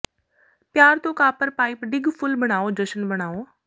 ਪਿਆਰ ਤੋਂ copper pipe ਡਿੱਗ ਫੁੱਲ ਬਣਾਓ ਜਸ਼ਨ ਬਣਾਓ